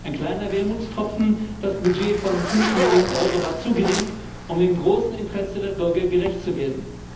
Ein kleiner Wermutstropfen Das Budget von 5 Millionen Euro war zu gering, um dem großen Interesse der Bürger gerecht zu werden.